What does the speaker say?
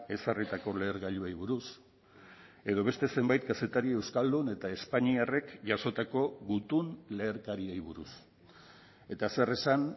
ezarritako lehergailuei buruz edo beste zenbait kazetari euskaldun eta espainiarrek jasotako gutun leherkariei buruz eta zer esan